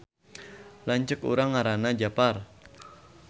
Lanceuk urang ngaranna Japar